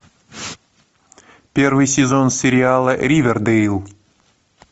первый сезон сериала ривердэйл